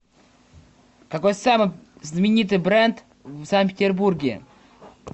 какой самый знаменитый бренд в санкт петербурге